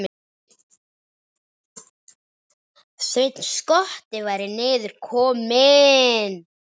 Sveinn skotti væri niður kominn.